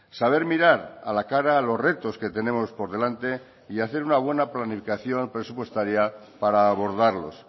saber mirar a la cara a los retos que tenemos por delante y hacer una buena planificación presupuestaria para abordarlos